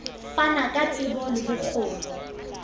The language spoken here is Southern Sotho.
fana ka tsebo le bokgoni